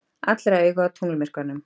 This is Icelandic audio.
Allra augu á tunglmyrkvanum